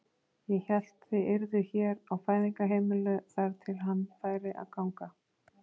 Ég hélt þið yrðuð hér á Fæðingarheimilinu þar til hann færi að ganga.